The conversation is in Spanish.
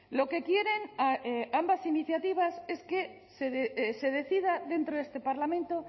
lo que quieren ambas iniciativas es que se decida dentro de este parlamento